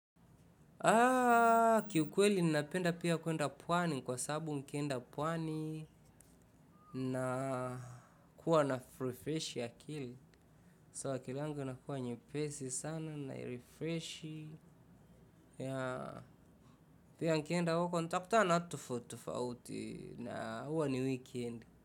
Kiukweli ninapenda pia kuenda pwani kwa sababu nikienda pwani nakuwa na refresh akili. So akili yangu inakuwa nyepesi sana na refreshi yea pia nikienda uko ntakutana na watu tofauti tofauti na huwa ni weekend.